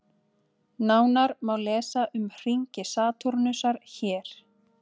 Nánar má lesa um hringi Satúrnusar hér.